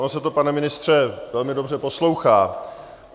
Ono se to, pane ministře, velmi dobře poslouchá.